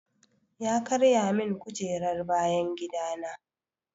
Ya karya min kujerar bayan gida na.